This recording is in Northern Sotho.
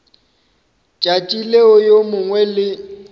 tšatši leo yo mongwe le